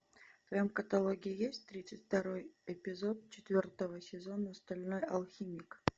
в твоем каталоге есть тридцать второй эпизод четвертого сезона стальной алхимик